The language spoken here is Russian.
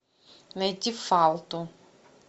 найти фалту